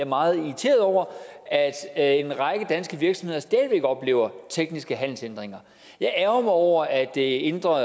meget irriteret over at en række danske virksomheder stadig væk oplever tekniske handelshindringer jeg ærgrer mig over at det indre